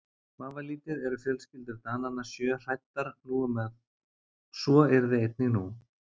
Vafalítið eru fjölskyldur Dananna sjö hræddar um að svo yrði einnig nú.